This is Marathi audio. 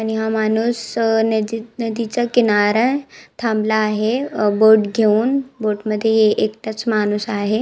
आणि हा माणुस नदी नदीच्या किणारा थाबला आहे अ बोट घेउन बोट मध्ये ए एकटाच माणुस आहे.